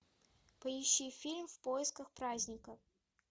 поищи фильм в поисках праздника